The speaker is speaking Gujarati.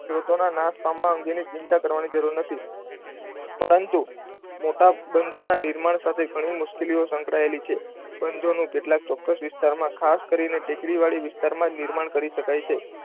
સ્ત્રોતોના નાશ પામવાની અંગેની ચિંતા કરવાની જરૂર નથી. પરંતુ, મોટાબંધો ના નિર્માણ સાથે ઘણી બધી મુશ્કેલીઓ સંકળાયેલી છે. બંધોનો કેટલાક ચોક્કસ વિસ્તારમાં ખાસ કરીને ટેકરીવાળી વિસ્તારમાં નિર્માણ કરી શકાય છે.